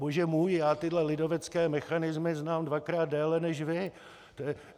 Bože můj, já tyhle lidovecké mechanismy znám dvakrát déle než vy.